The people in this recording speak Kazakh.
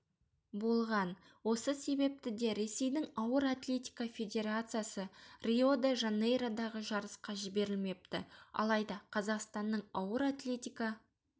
болған осы себепті де ресейдің ауыр атлетика федерациясы рио-де-жанейродағы жарысқа жіберілмепті алайда қазақстанның ауыр атлетика